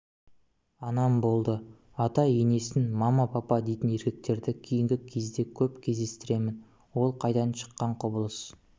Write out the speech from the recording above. анам болды ата-енесін мама папа дейтін еркектерді кейінгі кезде көп кездестіремін ол қайдан шыққан құбылыс